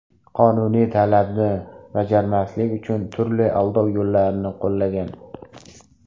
qonuniy talabni bajarmaslik uchun turli aldov yo‘llarini qo‘llagan.